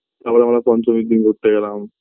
এবার আমরা পঞ্চমীর দিন ঘুরতে গেলাম